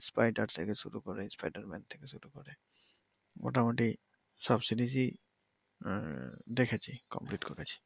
spider থেকে শুরু করে স্পাইডার ম্যান থেকে শুরু করে মোটামুটি সব সিরিজ ই দেখেছি কমপ্লিট করিছি